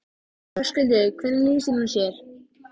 Þau fundu sér fallegt rjóður og borðuðu nestið.